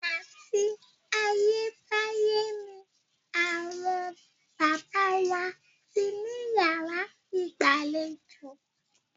Àti ayé báyé ni àwọn baba wa ti ní yàrá ìgbàlejò.